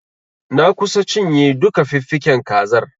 Na kusa cinye duka fiffiken kazar.